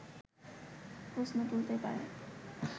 প্রশ্ন তুলতেই পারে